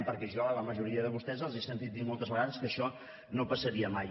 perquè jo a la majoria de vostès els he sentit dir moltes vegades que això no passaria mai